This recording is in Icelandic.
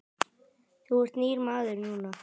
Þú ert nýr maður núna.